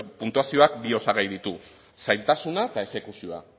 puntuazioak bi osagai ditu zailtasuna eta exekuzioa